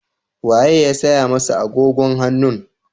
Wa ye ya saya masa agogon hannun?